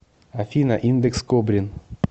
афина индекс кобрин